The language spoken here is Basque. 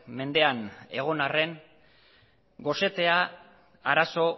mendean egon arren gosetea arazo